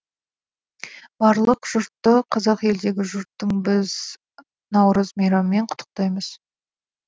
барлық жұртты қазақ елдегі жұртты біз наурыз мейраммен құттықтаймыз